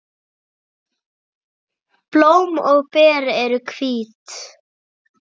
Blóm og ber eru hvít.